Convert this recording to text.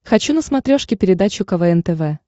хочу на смотрешке передачу квн тв